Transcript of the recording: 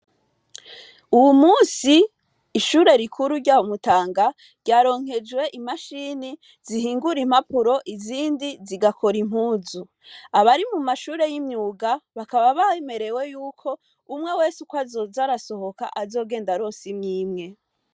Uwu munsi, ishure rikuru rya Mutanga, ryaronkejwe imashini zihingura impapuro, izindi zigakora impuzu. Abari mu mashure y' imyuga, bakaba bemerewe yuko umwe wese ukwo azoza arasohoka, azogenda aronse imwe Imwe.